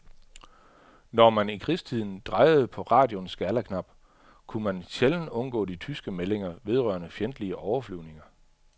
Når man i krigstiden drejede på radioens skalaknap, kunne man sjældent undgå de tyske meldinger vedrørende fjendtlige overflyvninger.